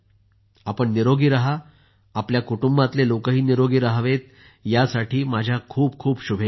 आपण निरोगी रहा आपल्या कुटुंबातले लोक निरोगी राहावेत यासाठी माझ्या खूप खूप शुभेच्छा